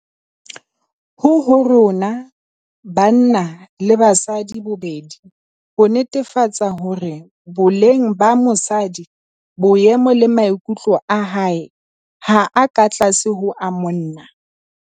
Ho ho rona - banna le basadi bobedi - ho netefatsa hore boleng ba mosadi, boemo le maikutlo a hae ha a ka tlase ho a monna.